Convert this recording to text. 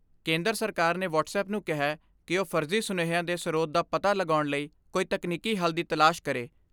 ਕੇਂਦਰ ਸਰਕਾਰ ਨੇ ਵਟਸਐੱਪ ਨੂੰ ਕਿਹੈ ਕਿ ਉਹ ਫਰਜ਼ੀ ਸੁਨੇਹਿਆਂ ਦੇ ਸਰੋਤ ਦਾ ਪਤਾ ਲਗਾਉਣ ਲਈ ਕੋਈ ਤਕਨੀਕੀ ਹੱਲ ਦੀ ਤਲਾਸ਼ ਕਰੇ।